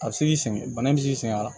A bɛ se k'i sɛgɛn bana in bɛ sɛgɛn a la